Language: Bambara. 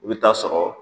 I bɛ taa sɔrɔ